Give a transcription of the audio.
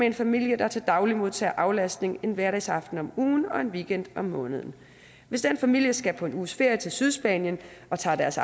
en familie der til daglig modtager aflastning en hverdagsaften om ugen og en weekend om måneden hvis den familie skal på en uges ferie til sydspanien og tager deres